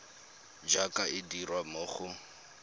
jaaka e dirwa mo go